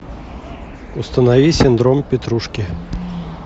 установи синдром петрушки